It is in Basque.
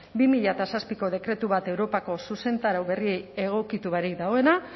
bi mila zazpiko dekretu bat europako zuzentarau berri egokitu barik dagoena